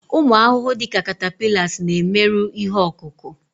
ụmụ ahụhụ dị ka catapillars na-emerụ ihe ọkụkụ